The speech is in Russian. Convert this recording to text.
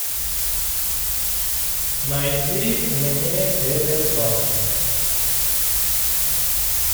найди мне эвертон